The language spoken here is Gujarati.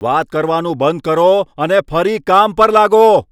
વાત કરવાનું બંધ કરો અને ફરી કામ પર લાગો.